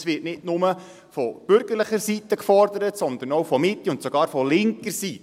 Es wird nicht nur von bürgerlicher Seite gefordert, sondern auch von der Mitte und sogar von linker Seite.